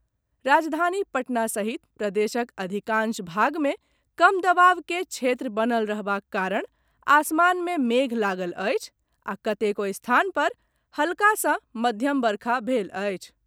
राजधानी पटना सहित प्रदेशक अधिकाशं भाग मे कम दवाब के क्षेत्र बनल रहबाक कारण आसमान मे मेघ लागल अछि आ कतेको स्थान पर हल्का सॅ मध्यम वर्षा भेल अछि।